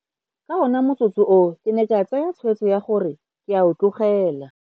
Ka ona motsotso oo ke ne ka tsaya tshwetso ya gore ke a o tlogela.